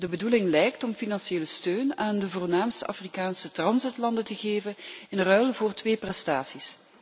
De bedoeling lijkt om financiële steun aan de voornaamste Afrikaanse transitlanden te geven in ruil voor twee prestaties.